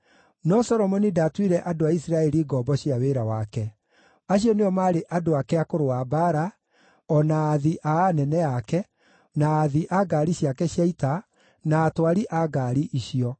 No Solomoni ndaatuire andũ a Isiraeli ngombo cia wĩra wake; acio nĩo maarĩ andũ ake a kũrũa mbaara, o na aathi a anene ake, na aathi a ngaari ciake cia ita, na atwari a ngaari icio.